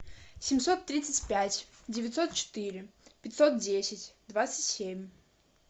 семьсот тридцать пять девятьсот четыре пятьсот десять двадцать семь